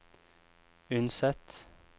Unset